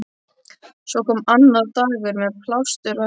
Svo kom annar dagur- með plástur á höfði.